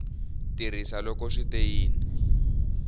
tirhisa loko swi te yini